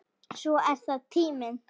Svo er það tíminn.